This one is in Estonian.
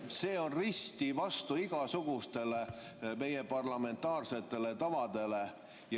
See on risti vastu igasugustele meie parlamentaarsetele tavadele.